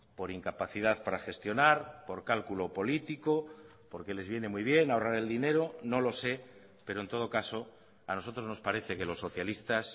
por incapacidad para gestionar por cálculo político porque les viene muy bien ahorrar el dinero no lo sé pero en todo caso a nosotros nos parece que los socialistas